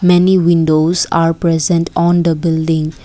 many windows are present on the building.